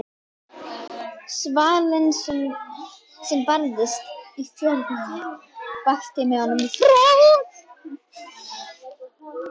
Svalinn sem barst inn fjörðinn vakti með honum hroll.